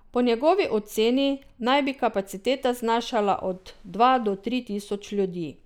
Po njegovi oceni naj bi kapaciteta znašala od dva do tri tisoč ljudi.